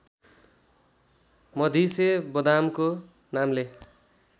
मधिसे बदामको नामले